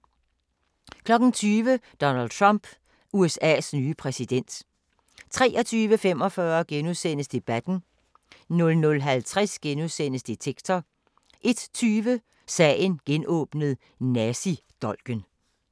20:00: Donald Trump – USA's nye præsident 23:45: Debatten * 00:50: Detektor * 01:20: Sagen genåbnet: Nazidolken